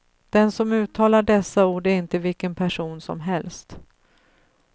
Den som uttalar dessa ord är inte vilken person som helst.